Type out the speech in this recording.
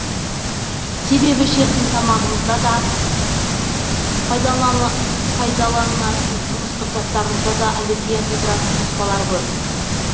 себебі ішетін тамағымызда да пайдаланатын тұрмыстық заттарымызда да аллергия тудыратын қоспалар көп